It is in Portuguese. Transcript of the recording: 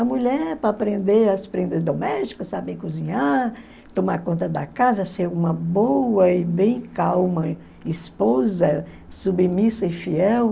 A mulher para aprender as prendas domésticas, saber cozinhar, tomar conta da casa, ser uma boa e bem calma esposa, submissa e fiel.